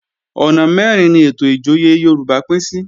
Ọ̀nà mẹ́rin ni ètò ìjòyè Yorùbá pín sí